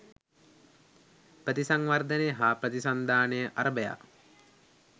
ප්‍රතිසංවර්ධනය හා ප්‍රතිසන්ධානය අරභයා